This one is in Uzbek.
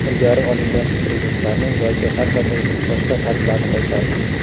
ilgari olingan kreditlarni yoki har qanday boshqa qarzlarni qaytarish;.